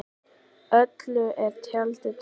Öllu er tjaldað til.